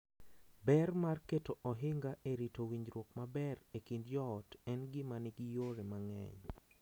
Ber mar keto ohinga e rito winjruok maber e kind joot en gima nigi yore mang’eny.